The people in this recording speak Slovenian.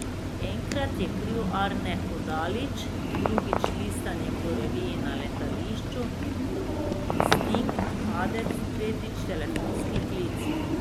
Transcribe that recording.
Enkrat je kriv Arne Hodalič, drugič listanje po reviji na letališču, instinkt, padec, tretjič telefonski klic.